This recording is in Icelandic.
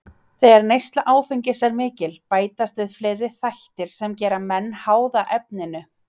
Þegar neysla áfengis er mikil bætast við fleiri þættir sem gera menn háða efninu.